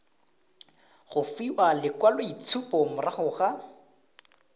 go fiwa lekwaloitshupo morago ga